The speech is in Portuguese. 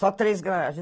Só três garagens.